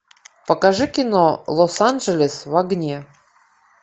покажи кино лос анджелес в огне